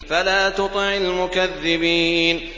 فَلَا تُطِعِ الْمُكَذِّبِينَ